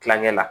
Kilancɛ la